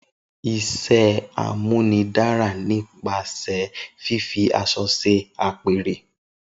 Isé amúnidara ni pase fifi àsõ se apere